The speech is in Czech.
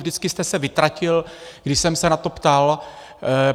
Vždycky jste se vytratil, když jsem se na to ptal.